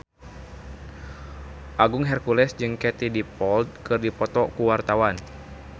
Agung Hercules jeung Katie Dippold keur dipoto ku wartawan